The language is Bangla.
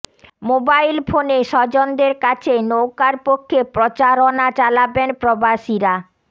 মোবাইল ফোনে স্বজনদের কাছে নৌকার পক্ষে প্রচারণা চালাবেন প্রবাসীরা